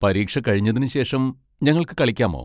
പരീക്ഷ കഴിഞ്ഞതിന് ശേഷം ഞങ്ങൾക്ക് കളിക്കാമോ?